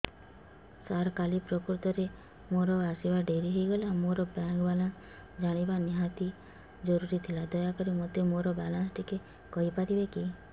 ସାର କାଲି ପ୍ରକୃତରେ ମୋର ଆସିବା ଡେରି ହେଇଗଲା ମୋର ବ୍ୟାଙ୍କ ବାଲାନ୍ସ ଜାଣିବା ନିହାତି ଜରୁରୀ ଥିଲା ଦୟାକରି ମୋତେ ମୋର ବାଲାନ୍ସ ଟି କହିପାରିବେକି